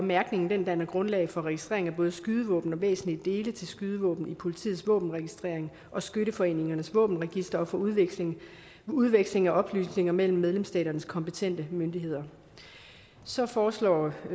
mærkningen danner grundlag for registrering af både skydevåben og væsentlige dele til skydevåben i politiets våbenregistrering og skytteforeningernes våbenregistre og for udveksling udveksling af oplysninger mellem medlemsstaternes kompetente myndigheder så foreslås